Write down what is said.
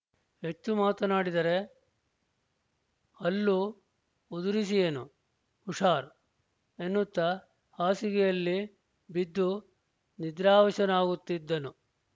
ಹೆಚ್ಚು ಮಾತನಾಡಿದರೆ ಹಲ್ಲು ಉದುರಿಸಿಯೇನು ಹುಷಾರ್ ಎನ್ನುತ್ತಾ ಹಾಸಿಗೆಯಲ್ಲಿ ಬಿದ್ದು ನಿದ್ರಾವಶನಾಗುತ್ತಿದ್ದನು